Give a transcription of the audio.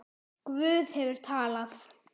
Guð hefur talað.